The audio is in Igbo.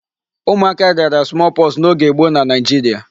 Ụmụaka rịara small pox n'oge gboo na Nigeria.